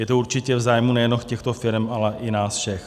Je to určitě v zájmu nejenom těchto firem, ale i nás všech.